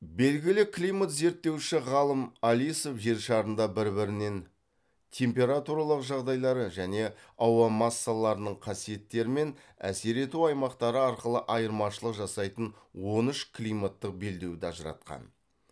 белгілі климат зерттеуші ғалым алисов жер шарында бір бірінен температуралық жағдайлары және ауа массаларының қасиеттері мен әсер ету аймақтары арқылы айырмашылық жасайтын он үш климаттық белдеуді ажыратқан